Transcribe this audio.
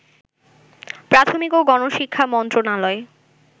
প্রাথমিক ও গণশিক্ষা মন্ত্রণালয়